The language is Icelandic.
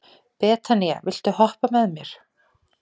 Betanía, viltu hoppa með mér?